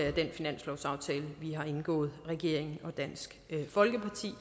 af den finanslovsaftale regeringen og dansk folkeparti